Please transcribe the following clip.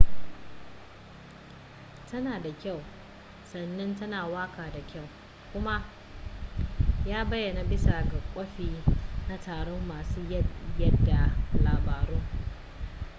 tana da kyau sannan tana waka da kyau kuma ya bayana bisa ga kwafi na taron masu yada labaru